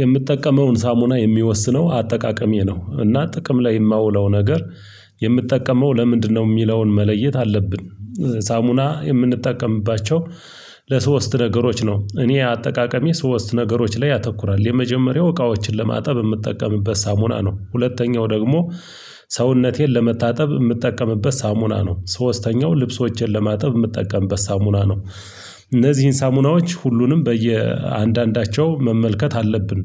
የምጠቀመውን ሳሙና የሚወስነው አጠቃቀሜ ነው እና ጥቅም ላይ የማውለው ነገር የምጠቀመው ለምንድነው የሚለውን መለየት አለብን። ሳሙና የምንጠቀምባቸው ለሶስት ነገሮች ነው። እኔ አጠቃቀሜ ሶስት ነገሮች ላይ ያተኩራል። የመጀመሪያው እቃዎችን ለማጠብ የምጠቀምበት ሳሙና ነው። ሁለተኛው ደግሞ ሰውነቴን ለመታጠብ ምጠቀምበት ሳሙና ነው። ሶስተኛው ልብሶቼን ለማጠብ ምጠቀምበት ሳሙና ነው። እነዚህን ሳሙናዎች ሁሉንም በየአንዳንዳቸው መመልከት አለብን።